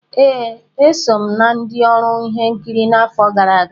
Ee, e so m na ndị ọrụ ihe nkiri n'afọ gara aga.